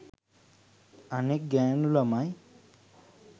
අනෙක් ගෑණු ළමයි